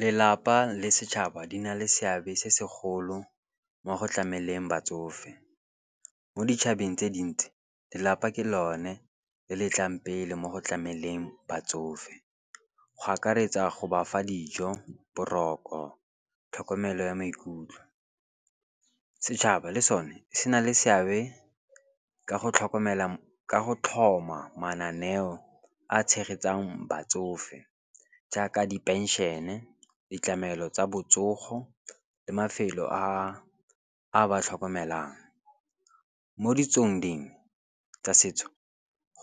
Lelapa le setšhaba di na le seabe se segolo mo go tlameleng batsofe. Mo ditšhabeng tse dintsi lelapa ke lone le letlang pele mo go tlameleng batsofe, go akaretsa go bafa dijo boroko tlhokomelo ya maikutlo. Setšhaba le sone se na le seabe ka go tlhoma mananeo a tshegetsang batsofe jaaka di penšene, ditlamelo tsa botsogo le mafelo a ba tlhokomelang. Mo ditsong dingwe tsa setso